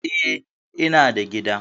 Eh, ina da gida.